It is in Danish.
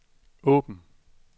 åben